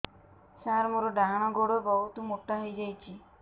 ସାର ମୋର ଡାହାଣ ଗୋଡୋ ବହୁତ ମୋଟା ହେଇଯାଇଛି